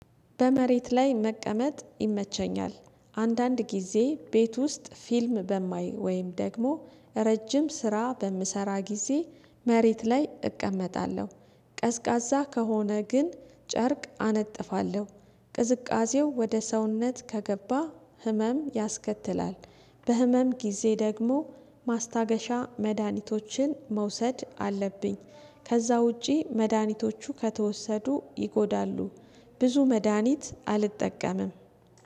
በመሬት ላይ መቀመጥ ይመቸኛል። አንዳንድ ጊዜ ቤት ውስጥ ፊልም በማይ ወይም ደግሞ ረጅም ስራ በምሰራ ጊዜ መሬት ላይ እቀመጣለሁ። ቀዝቃዛ ከሆነ ግን ጨርቅ አነጥፋለሁ። ቅዝቃዜው ወደ ሰውነት ከገባ ህመም ያስከትላል። በህመም ጊዜ ደግሞ ማስታገሻ መድሃኒቶችን መውሰድ አለብኝ። ከዛ ውጪ መድሃኒቶቹ ከተወሰዱ ይጎዳሉ። ብዙ መድሃኒት አልጠቀምም።